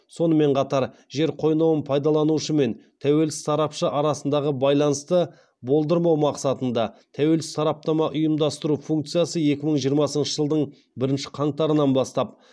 сонымен қатар жер қойнауын пайдаланушы мен тәуелсіз сарапшы арасындағы байланысты болдырмау мақсатында тәуелсіз сараптама ұйымдастыру функциясы екі мың жиырмасыншы жылдың бірінші қаңтарынан бастап